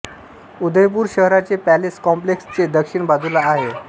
उदयपुर शहराचे palace complex चे दक्षिण बाजूला हे आहे